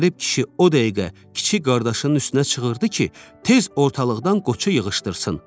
Qərib kişi o dəqiqə kiçik qardaşının üstünə çığırdı ki, tez ortalıqdan qoça yığışdırsın.